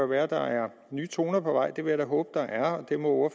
være der er nye toner på vej det vil jeg da håbe der er og det må